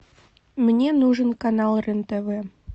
мне нужен канал рен тв